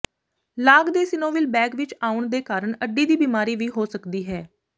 ਲਾਗ ਦੇ synovial bag ਵਿੱਚ ਆਉਣ ਦੇ ਕਾਰਨ ਅੱਡੀ ਦੀ ਬਿਮਾਰੀ ਵੀ ਹੋ ਸਕਦੀ ਹੈ